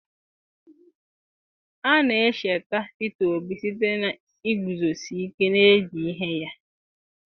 a na-echeta peter obi site na iguzosi ike n'ezi ihe ya